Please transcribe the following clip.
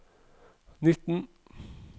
nitten